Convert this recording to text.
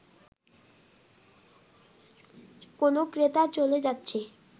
কোন ক্রেতা চলে যাচ্ছে